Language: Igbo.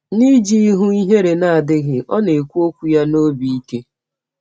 N’iji ihụ ihere na - adịghị, ọ na - ekwụ ọkwụ ya n’ọbi ike.